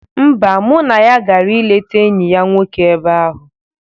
Mba, mụ na ya gara ileta enyi ya nwoke ebe ahụ.